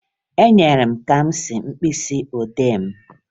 Enyere m Kamsi mkpịsịodee m